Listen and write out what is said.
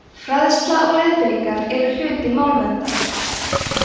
fræðsla og leiðbeiningar eru hluti málverndar